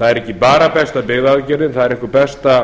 það er ekki bara besta byggðaaðgerðin það er einhver besta